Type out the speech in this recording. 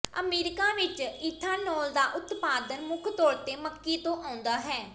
America ਵਿਚ ethanol ਦਾ ਉਤਪਾਦਨ ਮੁੱਖ ਤੌਰ ਤੇ ਮੱਕੀ ਤੋਂ ਆਉਂਦਾ ਹੈ